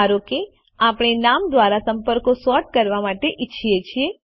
ધારો કે આપણે નામ દ્વારા સંપર્કો સૉર્ટ કરવા ઈચ્છીએ છીએ